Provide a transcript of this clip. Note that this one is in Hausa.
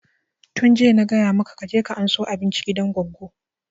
Tun jiya na gaya maka ka je ka ansa abinci gidan goggo!